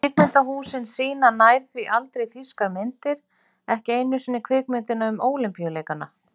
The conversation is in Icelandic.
Kvikmyndahúsin sýna nær því aldrei þýskar myndir, ekki einu sinni kvikmyndina um ólympíuleikana.